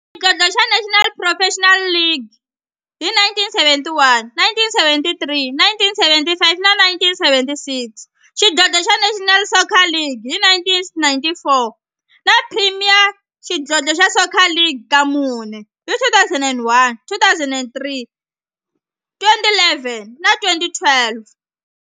Xidlodlo xa National Professional Soccer League hi 1971, 1973, 1975 na 1976, xidlodlo xa National Soccer League hi 1994, na Premier Xidlodlo xa Soccer League ka mune, hi 2001, 2003, 2011 na 2012.